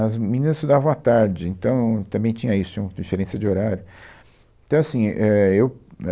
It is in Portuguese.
As meninas estudavam à tarde, então também tinha isso, tinha uma diferença de horário. então é assim, é, eu, né